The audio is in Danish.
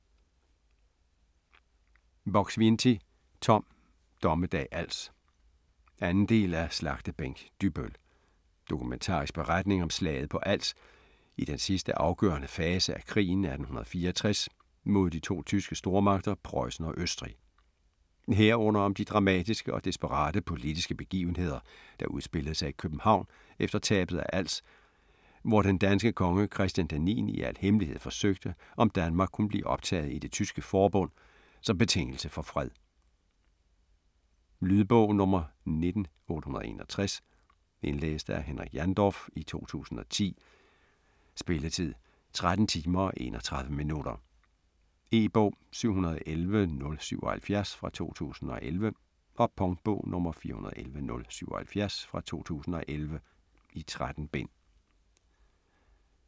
Buk-Swienty, Tom: Dommedag Als 2. del af Slagtebænk Dybbøl. Dokumentarisk beretning om slaget på Als i den sidste afgørende fase af krigen 1864 mod de to tyske stormagter Prøjsen og Østrig. Herunder om de dramatiske og desperate politiske begivenheder, der udspillede sig i København efter tabet af Als, hvor den danske konge Christian d. 9. i al hemmelighed forsøgte om Danmark kunne blive optaget i Det Tyske Forbund som betingelse for fred. Lydbog 19861 Indlæst af Henrik Jandorf, 2010. Spilletid: 13 timer, 31 minutter. E-bog 711077 2011. Punktbog 411077 2011. 13 bind.